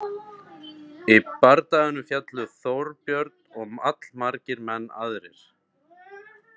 Í bardaganum féllu Þorbjörn og allmargir menn aðrir.